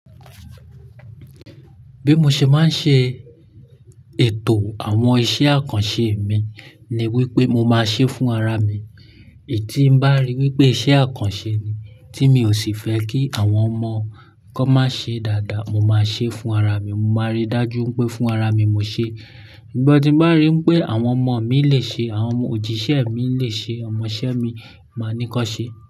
Bí mo ṣe máa ń ṣe ètò àwọn iṣẹ́ àkànṣe mi ni wípé mo máa ṣe fún ara mi. Ntí bá rí wípé iṣẹ́ àkànṣe ni tí mi ò sì fẹ́ kí àwọn ọmọ kan má ṣe dáadáa, mo máa ṣe fún ara mi. Mo máa rí dájú pé fún ara mi mo ṣe. Sugbom tí n bá rí n pé àwọn ọmọ mi lè ṣe, àwọn òjíṣẹ́ mi lè ṣe, ọmọ iṣẹ́ mi máa ní kan ṣe.